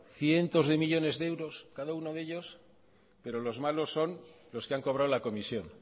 cientos de millónes de euros cada uno de ellos pero los malos son los que han cobrado la comisión